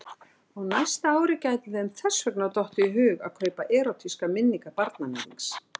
Á næsta ári gæti þeim þess vegna dottið í hug að kaupa Erótískar minningar barnaníðings.